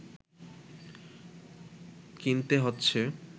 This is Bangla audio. কিনতে হচ্ছে